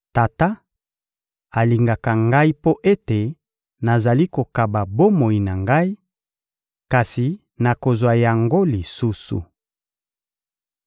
Tata alingaka Ngai mpo ete nazali kokaba bomoi na Ngai; kasi nakozwa yango lisusu.